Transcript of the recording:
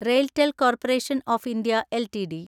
RailTel corporation of India LTD